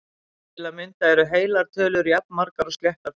Til að mynda eru heilar tölur jafnmargar og sléttar tölur!